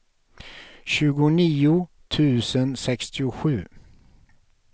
tjugonio tusen sextiosju